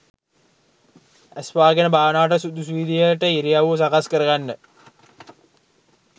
ඇස් වහගෙන භාවනාවට සුදුසු විදිහට ඉරියව්ව සකස් කරගන්න